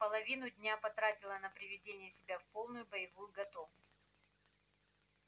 половину дня потратила на приведение себя в полную боевую готовность